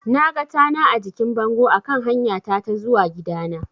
Naga tana a jikin bango a kan hanyata ta zuwa gidana.